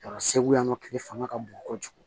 Yɔrɔ segu yan nɔ kile fanga ka bon kojugu